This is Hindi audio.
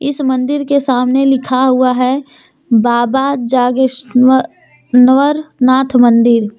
इस मंदिर के सामने लिखा हुआ है बाबा जागेश्वनर नाथ मंदिर।